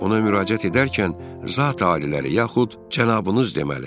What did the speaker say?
Ona müraciət edərkən Zati-aliləri yaxud cənabınız deməli.